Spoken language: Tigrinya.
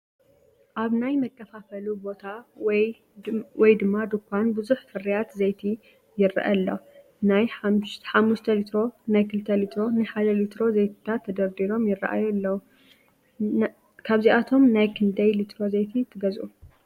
ኣብ ናይ መከፋፈሊ ቦታ ወይ ድንኳን ብዙሕ ፍርያት ዘይቲ ይረአ ኣሎ፡፡ ናይ 5+ ሊትሮ፣ ናይ 2+ ሊትሮ፣ ናይ 1ሊትሮ ዘይቲታት ተደርዲሮም ይራኣዩ ኣለው፡፡ ካብዚኣቶም ናይ ክንደይ ሊትሮ ዘይቲ ትገዝኡ?